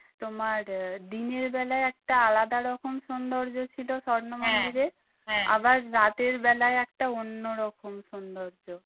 তোমার আহ দিনের বেলায় একটা আলাদা রকম সৌন্দর্য ছিল স্বর্ণ মন্দিরে আবার রাতের বেলায় একটা অন্যরকম সৌন্দর্য